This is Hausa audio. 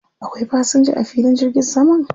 Akwai fasinja a filin jirgin saman?